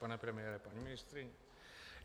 Pane premiére, paní ministryně.